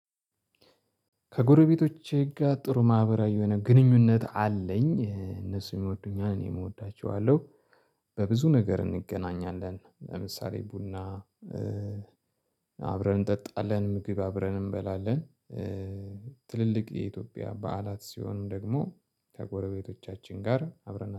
ከጎረቤቶቼ ጋር ጥሩ ማህበራዊ የሆነ ግንኙነት አለኝ እነሱ ይወዱኛል እኔም እወዳቸዋለሁ። በብዙ ነገር እንገናኛለን ለምሳሌ ቡና አብረን እንጠጣለን ምግብ አብረን እንበላለን። ትልልቅ የኢትዮጵያ በዓላት ሲሆንም ደግሞ ከጎረቤቶቻችን ጋር አብረን